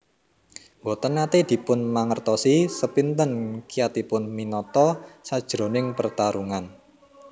Mboten nate dipun mangertosi sepinten kiyatipun Minato sajroning pertarungan